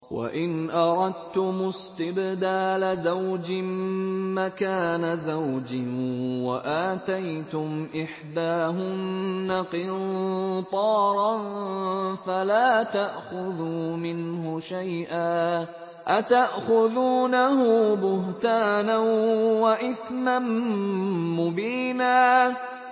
وَإِنْ أَرَدتُّمُ اسْتِبْدَالَ زَوْجٍ مَّكَانَ زَوْجٍ وَآتَيْتُمْ إِحْدَاهُنَّ قِنطَارًا فَلَا تَأْخُذُوا مِنْهُ شَيْئًا ۚ أَتَأْخُذُونَهُ بُهْتَانًا وَإِثْمًا مُّبِينًا